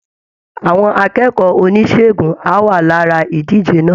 Àwọn akẹ́kọ̀ọ́ oníṣègùn á wà lára ìdíje náà